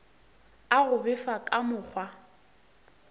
a go befa ka mokgwa